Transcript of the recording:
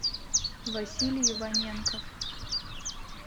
василий иваненков